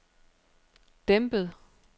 dæmpet